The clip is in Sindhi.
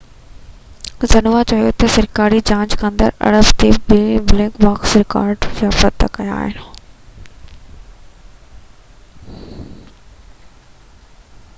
زنهوا چيو ته سرڪاري جاچ ڪندڙن اربع تي ٻه ’بليڪ باڪس‘ رڪارڊر بازيافت ڪيا آهن